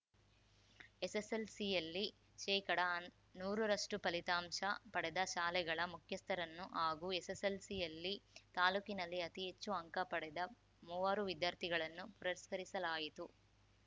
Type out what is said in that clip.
ಎಸ್‌ಎಸ್‌ಎಲ್‌ಸಿಯಲ್ಲಿ ಶೇಕಡನೂರ ರಷ್ಟು ಫಲಿತಾಂಶ ಪಡೆದ ಶಾಲೆಗಳ ಮುಖ್ಯಸ್ಥರನ್ನು ಹಾಗೂ ಎಸ್‌ಎಸ್‌ಎಲ್‌ಸಿಯಲ್ಲಿ ತಾಲೂಕಿನಲ್ಲಿ ಅತಿ ಹೆಚ್ಚು ಅಂಕ ಪಡೆದ ಮೂವರು ವಿದ್ಯಾರ್ಥಿಗಳನ್ನು ಪುರಸ್ಕರಿಸಲಾಯಿತು